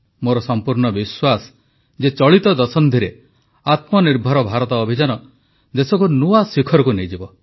ମୋର ସମ୍ପୂର୍ଣ୍ଣ ବିଶ୍ୱାସ ଯେ ଚଳିତ ଦଶନ୍ଧିରେ ଆତ୍ମନିର୍ଭର ଭାରତ ଅଭିଯାନ ଦେଶକୁ ନୂଆ ଶିଖରକୁ ନେଇଯିବ